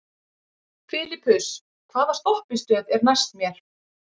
Filippus, hvaða stoppistöð er næst mér?